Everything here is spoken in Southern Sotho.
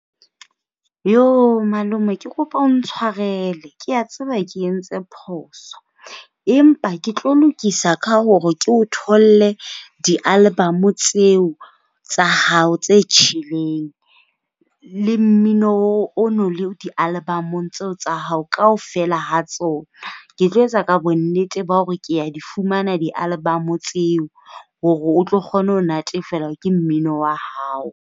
Yhoo, malome ke kopa o ntshwarele. Ke a tseba ke entse phoso empa ke tlo lokisa ka hore ke o tholle di-album tseo tsa hao tse tjheleng le mmino o no le di-album-ong tseo tsa hao kaofela ha tsona. Ke tlo etsa bonnete ba hore ke a di fumana di-album tseo hore o tlo kgona ho natefelwa ke mmino wa hao.